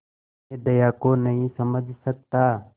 मैं दया को नहीं समझ सकता